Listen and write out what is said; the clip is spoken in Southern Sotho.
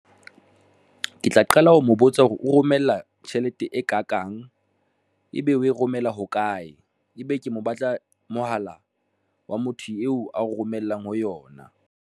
Ke tla qala ho mo botsa hore o romella tjhelete e ka kang ebe o e romela hokae, ebe ke mo batla mohala wa motho eo a o romellang ho yona.